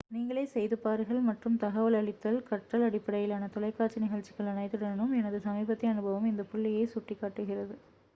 நீங்களே செய்து பாருங்கள் மற்றும் தகவல் அளித்தல் கற்றல் அடிப்படையிலான தொலைக்காட்சி நிகழ்ச்சிகள் அனைத்துடனும் எனது சமீபத்திய அனுபவம் இந்த புள்ளியை சுட்டிக்காட்டுகிறது